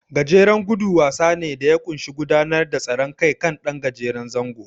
Gajeren gudu wasa ne da ya ƙunshi gudanar da tseren kan ɗan gajeren zango.